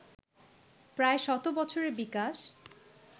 প্রায় শত বছরের বিকাশ